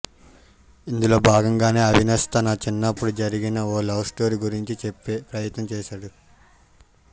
ఇందులో భాగంగానే అవినాష్ తన చిన్నప్పుడు జరిగిన ఓ లవ్ స్టోరీ గురించి చెప్పే ప్రయత్నం చేశాడు